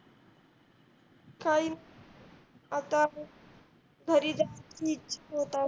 काय आत्ता घरी जाइल